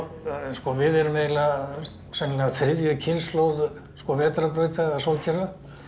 við erum eiginlega sennilega þriðja kynslóð vetrarbrauta sólkerfa